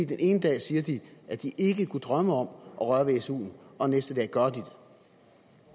den ene dag siger de at de ikke kunne drømme om at røre ved suen og næste dag